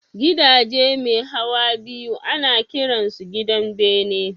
Gidaje mai hawa biyu ana kiran su gidan bene